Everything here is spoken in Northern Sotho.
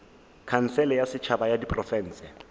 khansele ya setšhaba ya diprofense